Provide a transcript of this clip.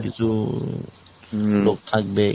কিছু উম লোক থাকবে।